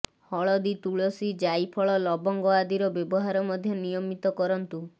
ହଳଦୀ ତୁଳସୀ ଜାଇଫଳ ଲବଙ୍ଗ ଆଦିର ବ୍ୟବହାର ମଧ୍ୟ ନିୟମିତ କରନ୍ତୁ